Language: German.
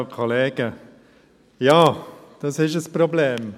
Ja, das ist ein Problem.